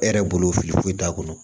E yɛrɛ bolo fili foyi t'a kɔnɔ